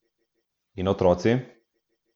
In otroci?